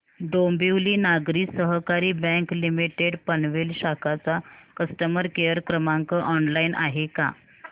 Dombivli Nagari Sahakari bank limited Panvel शाखा चा customer care क्रमांक ऑनलाइन आहे का